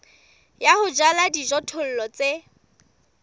ya ho jala dijothollo tse